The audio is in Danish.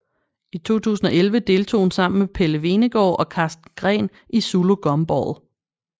I 2011 deltog hun sammen med Pelle Hvenegaard og Karsten Green i Zulu Gumball